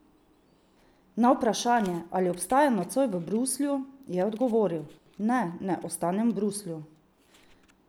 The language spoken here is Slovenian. Na vprašanje, ali ostaja nocoj v Bruslju, je odgovoril: "Ne, ne ostanem v Bruslju.